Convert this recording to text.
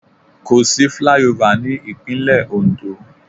Kò sí flyover ní Ìpínlẹ̀ Oǹdó.